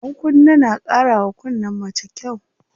Ɗankunne na ƙara wa kunnen mace kyau.